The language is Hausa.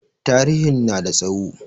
Tarihin na da tsawo.